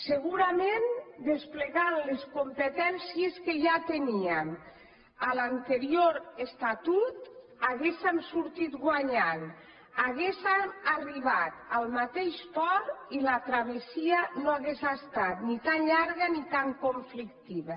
segurament desplegant les competències que ja teníem a l’anterior estatut haguéssem sortit guanyant haguéssem arribat al mateix port i la travessia no hagués estat ni tan llarga ni tan conflictiva